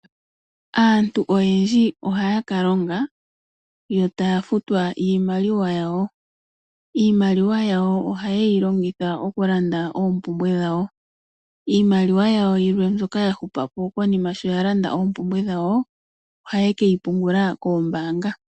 Aantu oyendji ohaya ka longa yo taya futwa iimaliwa yawo. Iimaliwa yawo ohaye yi longitha okulanda oompumbwe dhawo. Iimaliwa yawo yilwe mbyoka ya hupa po konima sho ya landa oompumbwe dhawo, ohaye ke yi pungula koombaanga.